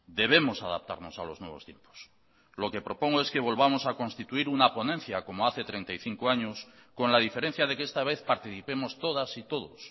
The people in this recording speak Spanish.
debemos adaptarnos a los nuevos tiempos lo que propongo es que volvamos a constituir una ponencia como hace treinta y cinco años con la diferencia de que esta vez participemos todas y todos